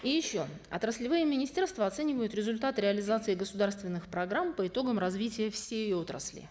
и еще отраслевые министерства оценивают результаты реализации государственных программ по итогам развития всей отрасли